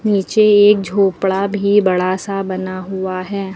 नीचे एक झोपड़ा भी बड़ा सा बना हुआ है।